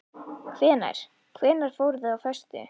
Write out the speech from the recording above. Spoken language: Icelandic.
Hvenær. hvenær voruð þið á föstu?